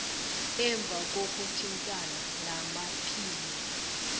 emva kokuthintana namaphini